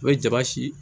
I bɛ jaba si